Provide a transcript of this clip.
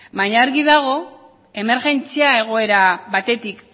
baina argi dago emergentzia egoera batetik